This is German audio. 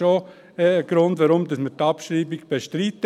Das ist ebenfalls ein Grund, warum wir die Abschreibung bestreiten.